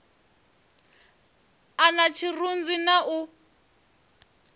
a na tshirunzi na u